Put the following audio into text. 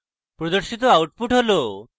প্রদর্শিত output হল: